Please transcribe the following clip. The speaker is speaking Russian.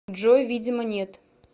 джой видимо нет